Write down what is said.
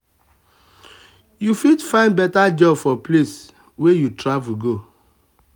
you fit find better job for place wey you travel go.